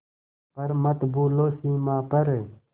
पर मत भूलो सीमा पर